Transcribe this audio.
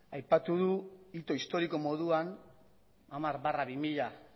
aipatu du hito historiko moduan hamar barra bi mila